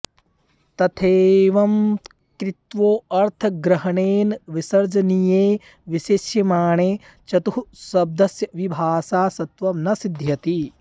तथैवं कृत्वोऽर्थग्रहणेन विसर्जनीये विशेष्यमाणे चतुःशब्दस्य विभाषा षत्वं न सिध्यति